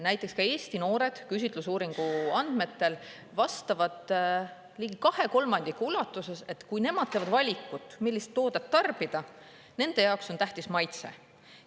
Näiteks ka Eesti noored küsitlusuuringu andmetel vastavad ligi kahe kolmandiku ulatuses, et kui nemad teevad valikut, millist toodet tarbida, nende jaoks on tähtis maitse.